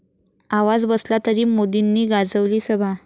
आवाज बसला तरी मोदींनी गाजवली सभा